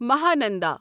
Mahananda